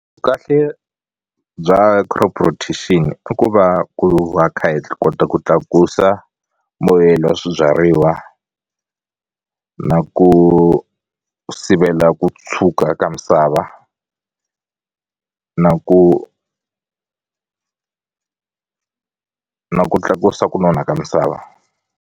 Kahle bya crop rotation i ku va ku va kha hi kota ku tlakusa mbuyelo wa swibyariwa na ku ku sivela ku tshuka ka misava na ku na ku tlakusa ku nona ka misava.